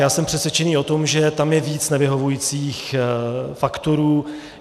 Já jsem přesvědčený o tom, že tam je víc nevyhovujících faktorů.